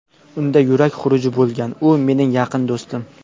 Unda yurak xuruji bo‘lgan, u mening yaqin do‘stim.